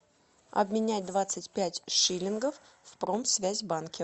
обменять двадцать пять шиллингов в промсвязьбанке